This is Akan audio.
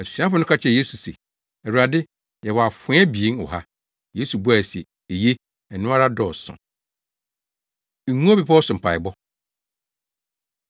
Asuafo no ka kyerɛɛ Yesu se, “Awurade, yɛwɔ afoa abien wɔ ha.” Yesu buae se, “Eye, ɛno ara dɔɔso.” Ngo Bepɔw So Mpaebɔ